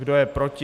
Kdo je proti?